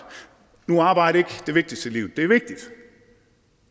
nu er arbejde ikke det vigtigste i livet det er vigtigt